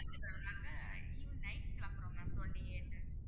evening night கிளம்புறோம் ma'am twenty eight